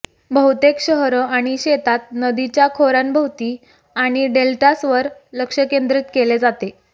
बहुतेक शहरं आणि शेतात नदीच्या खोऱ्यांभोवती आणि डेल्टासवर लक्ष केंद्रित केले जाते